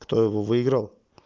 кто его выиграл